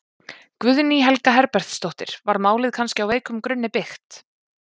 Guðný Helga Herbertsdóttir: Var málið kannski á veikum grunni byggt?